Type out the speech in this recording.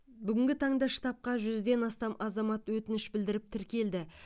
бүгінгі таңда штабқа жүзден астам азамат өтініш білдіріп тіркелді